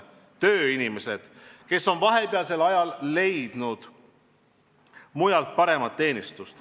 Tööinimesed, kes on vahepeal leidnud mujalt paremat teenistust.